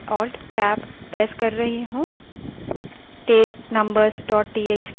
terminal पर वापस जाने के लिए मैं alt + tab alt + tab press कर रही हूँ